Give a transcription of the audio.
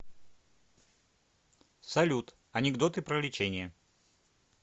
салют анекдоты про лечение